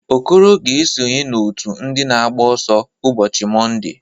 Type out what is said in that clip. Okoro ga-esonye n'ọ́tụ̀ ndị na agba ọsọ ụbọchị Mọnde.